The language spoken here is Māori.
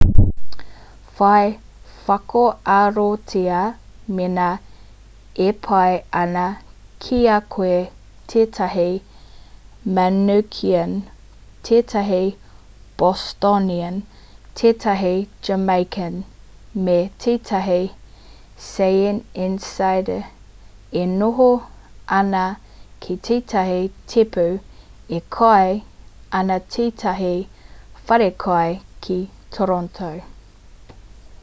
whai whakaarotia mēnā e pai ana ki a koe tētahi mancunian tētahi bostonian tētahi jamaican me tētahi syeneysider e noho ana ki tētahi tēpu e kai ana ki tētahi wharekai ki toronto